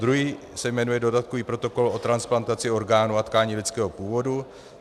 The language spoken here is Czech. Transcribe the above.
Druhý se jmenuje dodatkový protokol o transplantaci orgánů a tkání lidského původu.